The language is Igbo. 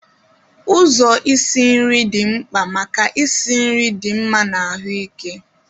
Ụzọ isi nri dị mkpa maka ịsi nri dị mma na ahụike.